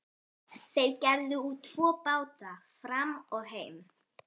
Þeir gerðu út tvo báta, Fram og Heim.